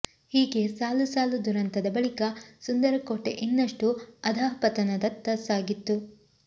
ಹೀಗೆ ಸಾಲು ಸಾಲು ದುರಂತದ ಬಳಿಕ ಸುಂದರ ಕೋಟೆ ಇನ್ನಷ್ಟು ಅಧಃಪತನದತ್ತ ಸಾಗಿತ್ತು